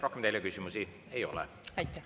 Rohkem teile küsimusi ei ole.